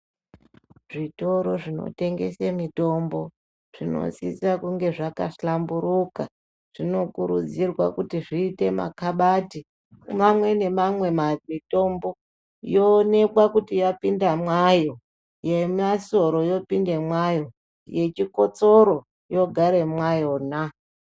Zvitoro zvinotengese mitombo zvinosisa kunge zvaka hlamburuka zvinokurudzirwa kuti zviite ma kabati mamwe nemamwe mitombo yonekwa kuti yapinda mwayo, yemasoro yopinde mwayo yechikotsoro yogare mwayona.